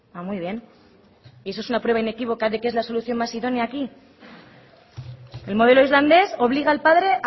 muy bien y esa es una prueba inequívoca de que es la solución más idónea aquí el modelo islandés obliga al padre